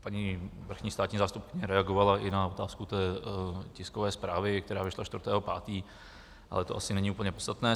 Paní vrchní státní zástupkyně reagovala i na otázku tiskové zprávy, která vyšla 4. 5., ale to asi není úplně podstatné.